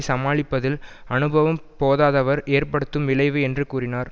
சமாளிப்பதில் அனுபவம் போதாதவர் ஏற்படுத்தும் விளைவு என்று கூறினர்